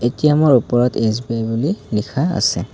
ATM ৰ ওপৰত SBI বুলি লিখা আছে।